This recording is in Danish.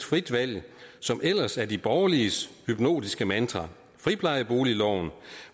frie valg som ellers er de borgerliges hypnotiske mantra friplejeboligloven